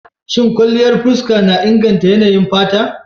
Shin kwanliyan fuska na inganta yanayin fata?